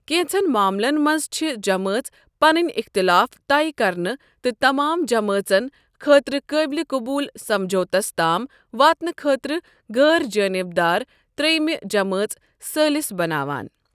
كینژن معاملن مَنٛز چھ جمٲژ پنٕنۍ اختلاف طے کرنہٕ تہٕ تمام جمٲژن خٲطرٕ قٲبلہِ قبول سَمجھوتس تام واتنہٕ خٲطرٕ غٲرجٲنِبدار ترٛیٚمہِ جمٲژ ثٲلِس بناوان ۔